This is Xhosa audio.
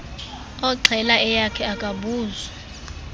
oxhela eyakhe akabuzwa